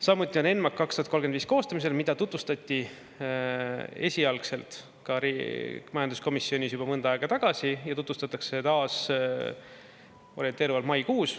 Samuti on ENMAK 2035 koostamisel, mida tutvustati esialgselt majanduskomisjonis juba mõnda aega tagasi ja tutvustatakse taas orienteeruvalt maikuus.